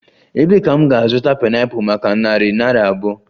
Ebee ka m ga-azụta pineapple maka narị naira abụọ?